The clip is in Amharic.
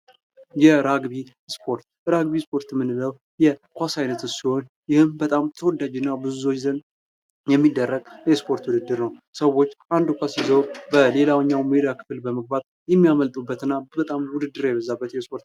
የራግቢ ስፖርት:- ራግቢን ስፖርት የምንለዉ የኳስ አይነት ሲሆን ይህም በጣም ተወዳጅ እና በብዙ ሰዎች ዘንድ የሚደረግ የስፖርት ዉድድር ነዉ። ሰዎች አንድ ኳስ ይዘዉ በሌላኛዉ የሜዳ ክፍል በመግባት የሚያመልጡበት እና በጣም ዉድድር የበዛበት የስፖርት ነዉ።